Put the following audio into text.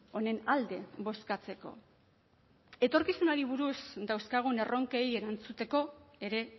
honen alde bozkatzeko etorkizunari buruz dauzkagun erronkei erantzuteko ere